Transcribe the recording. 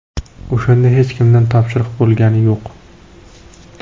O‘shanda hech kimdan topshiriq bo‘lgani yo‘q.